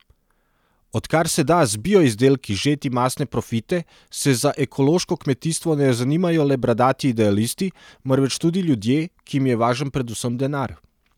Odkar se da z bio izdelki žeti mastne profite, se za ekološko kmetijstvo ne zanimajo le bradati idealisti, marveč tudi ljudje, ki jim je važen predvsem denar.